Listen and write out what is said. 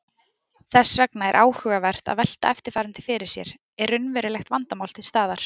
Þess vegna er áhugavert að velta eftirfarandi fyrir sér: Er raunverulegt vandamál til staðar?